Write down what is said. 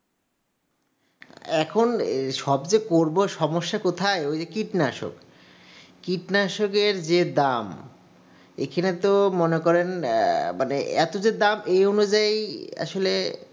এখন সবচেয়ে করব সমস্যা কোথায়? ওই যে কীটনাশক কীটনাশকের যে দাম এখানে তো মনে করেন মানে এত যে দাম এই অনুযায়ী আসলে